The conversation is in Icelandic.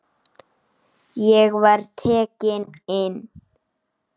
Ég var tekinn inn.